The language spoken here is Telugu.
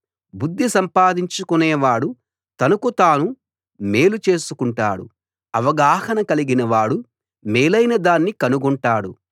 బుద్ధి సంపాదించుకొనేవాడు తనకు తాను మేలు చేసుకుంటాడు అవగాహన కలిగిన వాడు మేలైనదాన్ని కనుగొంటాడు